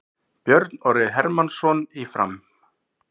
Björn Orri Hermannsson í Fram